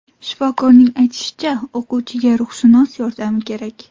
Shifokorning aytishicha, o‘quvchiga ruhshunos yordami kerak.